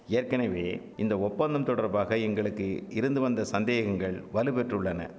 ஏற்கெனவே இந்த ஒப்பந்தம் தொடர்பாக எங்களுக்கு இருந்துவந்த சந்தேகங்கள் வலுபெற்றுள்ளன